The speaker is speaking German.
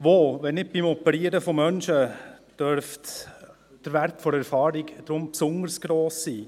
Wo, wenn nicht beim Operieren von Menschen, darf der Wert der Erfahrung besonders gross sein.